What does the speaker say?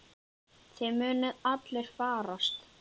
Þið munuð allir farast.